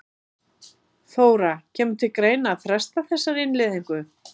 Þóra: Kemur til greina að fresta þessari innleiðingu?